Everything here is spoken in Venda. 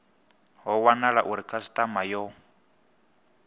ho wanala uri khasitama yo